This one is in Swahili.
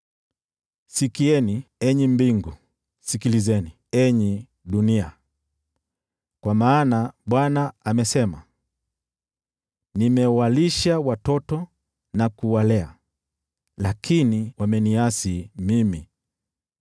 Sikieni, enyi mbingu! Sikilizeni, enyi dunia! Kwa maana Bwana amesema: “Nimewalisha watoto na kuwalea, lakini wameniasi mimi.